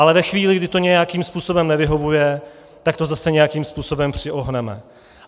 Ale ve chvíli, kdy to nějakým způsobem nevyhovuje, tak to zase nějakým způsobem přiohneme.